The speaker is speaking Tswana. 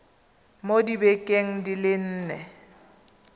mo dibekeng di le nne